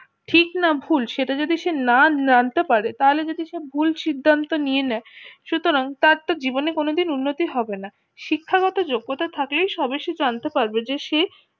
ঠিক না ভুল সেটা যদি সে না জানতে পারে তাহলে যদি সে ভুল সিদ্ধান্ত নিয়ে নেই সুতরাং তার তো জীবনে কোনো দিন উন্নতি হবে না শিক্ষাগত যোগ্যতা থাকলে সব কিছু জানতে পারবে যে সে